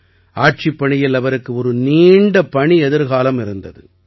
ஆட்சிப் பணியில் அவருக்கு ஒரு நீண்ட பணி எதிர்காலம் இருந்தது